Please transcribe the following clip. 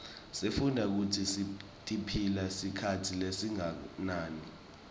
sifundza kutsi tiphila sikhatsi lesinganani